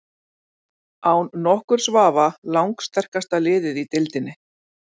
Án nokkurs vafa lang sterkasta liðið í deildinni.